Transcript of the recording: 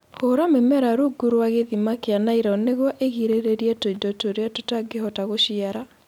Hũra mĩmera rungu rwa gĩthima kĩa nylon nĩguo ĩgirĩrĩrie tũindo tũrĩa tũtangĩhota gũciara